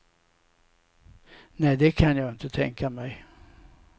Nej, det kan jag inte tänka mig.